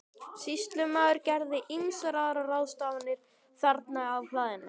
Sýslumaður gerði ýmsar aðrar ráðstafanir þarna á hlaðinu.